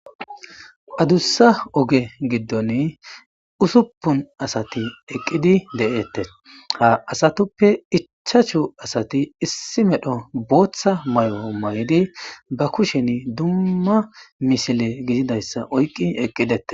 Adussa oge giddon ussuppun asati eqqidi de'etes. Ha asatuppe ichchashshu asati issi medho booththa mayo mayidi ba kushen dumma misile gididayssa oyqqidi eqqidetes.